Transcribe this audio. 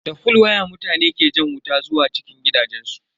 Da fol waya mutane ke jan wuta zuwa cikin gidajensu.